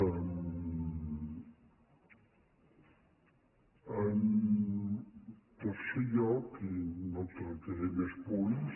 en tercer lloc i no tractaré més punts